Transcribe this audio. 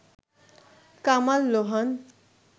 Kamal Lohan